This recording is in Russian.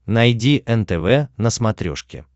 найди нтв на смотрешке